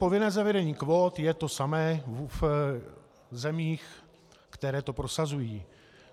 Povinné zavedení kvót je to samé v zemích, které to prosazují.